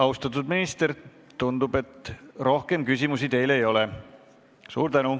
Austatud minister, tundub, et rohkem küsimusi teile ei ole.